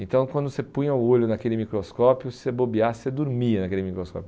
Então quando você punha o olho naquele microscópio, se você bobeasse, você dormia naquele microscópio.